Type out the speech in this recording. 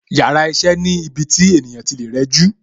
Yàrá iṣẹ́ ni ibi tí ènìyàn tí lè rẹjú